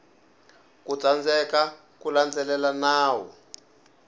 ku tsandzeka ku landzelela nawu